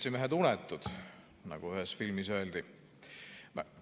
Seltsimehed unetud, nagu ühes filmis öeldi!